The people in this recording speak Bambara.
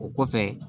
O kɔfɛ